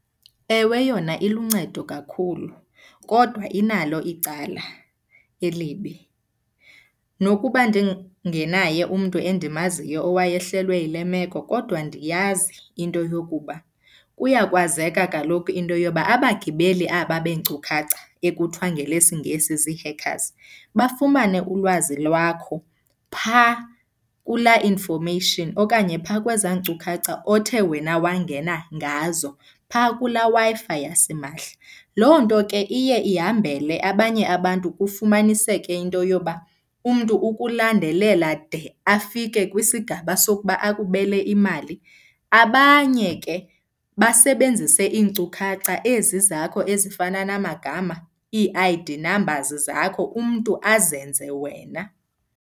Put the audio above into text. Ewe yona iluncedo kakhulu kodwa inalo icala elibi. Nokuba ndingenaye umntu endimaziyo owayehlelwe yile meko kodwa ndiyazi into yokuba kuyakwazeka kaloku into yoba abagibeli aba beenkcukhacha ekuthiwa ngelesiNgesi zii-hackers bafumane ulwazi lwakho phaa kulaa information okanye phaa kwezaa nkcukacha othe wena wangena ngazo phaa kulaa Wi-Fi yasimahla. Loo nto ke iye ihambele abanye abantu kufumaniseke into yoba umntu ukulandelela de afike kwisigaba sokuba akubele imali. Abanye ke basebenzise iinkcukhacha ezi zakho ezifana namagama, ii-I_D numbers zakho, umntu azenze wena.